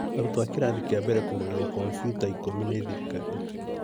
Arutwo a kĩrathi kĩa mbere kũgũrerwa kombiuta ikũmi nĩ thirikari